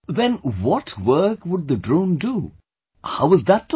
Then what work would the drone do, how was that taught